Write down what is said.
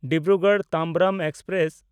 Dibrugarh Tambaram express